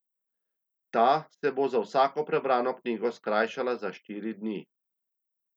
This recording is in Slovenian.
Ta se bo za vsako prebrano knjigo skrajšala za štiri dni.